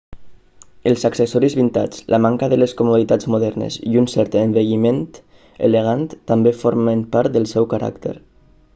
els accessoris vintage la manca de les comoditats modernes i un cert envelliment elegant també formen part del seu caràcter